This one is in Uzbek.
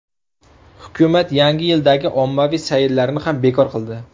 Hukumat Yangi yildagi ommaviy sayillarni ham bekor qildi.